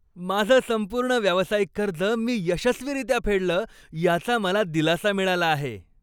माझं संपूर्ण व्यावसायिक कर्ज मी यशस्वीरित्या फेडलं याचा मला दिलासा मिळाला आहे.